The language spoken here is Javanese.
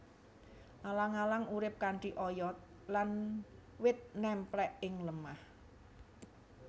Alang alang urip kanthi oyot lan wit nemplek ing lemah